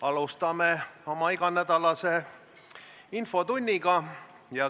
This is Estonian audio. Alustame oma iganädalast infotundi.